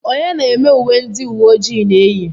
onye na-eme uwe ndị uwe ojii na-eyi